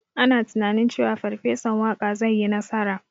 Ana tunanin cewa Farfesan Waƙa zai yi nasara.